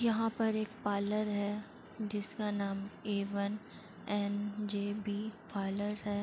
यहाँ पर एक पार्लर है। जिसका नाम A one N J B parlour है।